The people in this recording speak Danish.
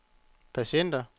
patienter